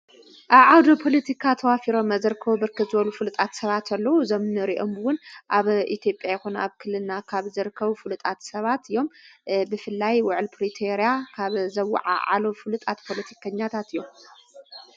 ኣዓውድ ጶልቲካ ተዋፊሮ መዘርከዊ ብርክዝበሉ ፍልጣት ሰባትኣሎዉ ዞምኑ ሬኦምውን ኣብ ኢቲጴ ኮና ኣብ ክልና ካብ ዘርከው ፍሉጣት ሰባት እዮም ብፍላይ ውዕል ጵሪቴርያ ካብ ዘዉዓ ዓሎ ፍልጣት ጶልቲከኛታት እዮም።